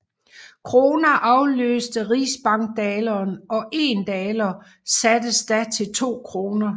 Kroner afløste rigsbankdaleren og 1 daler sattes da til 2 kroner